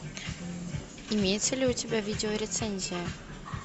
имеется ли у тебя видеорецензия